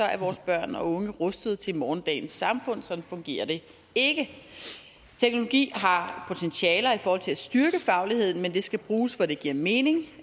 er vores børn og unge rustet til morgendagens samfund sådan fungerer det ikke teknologi har potentiale i forhold til at styrke fagligheden men det skal bruges hvor det giver mening